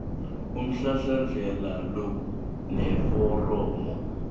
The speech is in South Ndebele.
umhlahlandlela lo neforomo